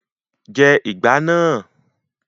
Jẹ ìgbá náà!